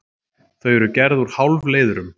Þau eru gerð úr hálfleiðurum.